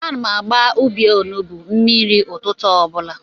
Ana m agba ubi onugbo mmiri ụtụtụ obula